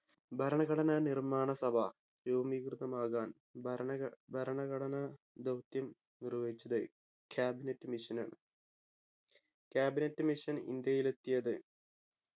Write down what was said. ഭരണഘടനാ നിർമ്മാണ സഭ രൂപീകൃതമാകാൻ ഭരണ ഘ ഭരണഘടനാ ധൗത്യം നിർവഹിച്ചത് cabinet mission ആണ് cabinet mission ഇന്ത്യയിലെത്തിയത്